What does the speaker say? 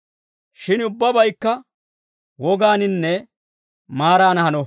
Shin ubbabaykka wogaaninne maaran hano.